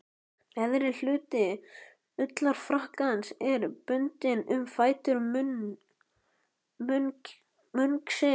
Neðri hluti ullarfrakkans er bundinn um fætur munksins.